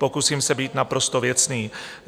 Pokusím se být naprosto věcný.